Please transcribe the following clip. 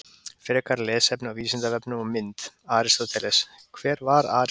Frekara lesefni á Vísindavefnum og mynd: Aristóteles: Hver var Aristóteles?